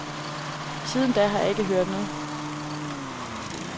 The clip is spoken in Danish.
Siden da har jeg ikke hørt noget.